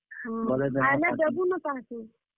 ହଁ, ଆଏଲେ ଦେବୁ ନ ତାହାକୁ।